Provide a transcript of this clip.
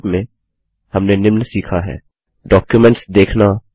संक्षेप में हमने निम्न सीखा हैः डॉक्युमेंट्स देखना